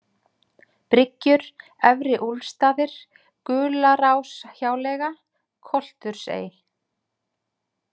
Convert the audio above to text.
Bryggjur, Efri-Úlfsstaðir, Gularáshjáleiga, Koltursey